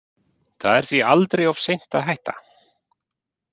Það er því aldrei of seint að hætta.